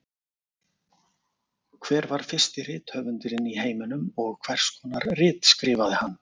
Hver var fyrsti rithöfundurinn í heiminum og hvers konar rit skrifaði hann?